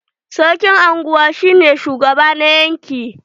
Sarkin anguwa shi ne shugaba na yanƙi.